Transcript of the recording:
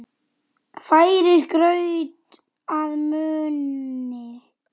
Færir graut að munni.